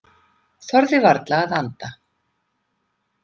Þorði varla að anda.